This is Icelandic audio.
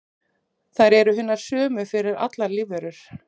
Þær eru hinar sömu fyrir allar lífverur.